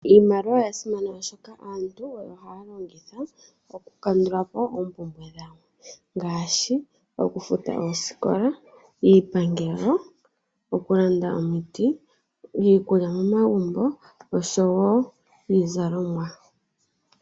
Iimaliwa oya simana oshoka aantu oyo haya longitha oku kandulapo oompumbwe dhawo ngaashi oku futa oosikola, iipangelo, oku landa omiti, iikulya nosho wo iizalomwa.